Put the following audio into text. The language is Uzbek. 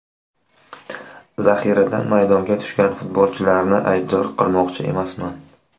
Zaxiradan maydonga tushgan futbolchilarni aybdor qilmoqchi emasman.